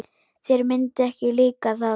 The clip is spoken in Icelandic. Þér myndi ekki líka það.